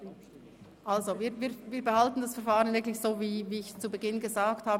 Wir behalten das Verfahren wirklich so bei, wie ich es zu Beginn gesagt habe.